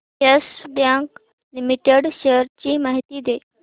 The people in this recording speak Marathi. येस बँक लिमिटेड शेअर्स ची माहिती दे